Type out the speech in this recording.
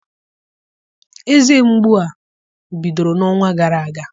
Eze mgbu a bidoro n'ọnwa gara aga.